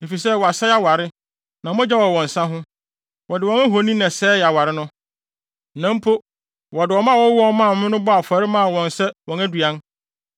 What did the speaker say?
efisɛ wɔasɛe aware, na mogya wɔ wɔn nsa ho. Wɔde wɔn ahoni na ɛsɛee aware no; na mpo wɔde wɔn mma a wɔwoo wɔn maa me no bɔɔ afɔre maa wɔn sɛ wɔn aduan.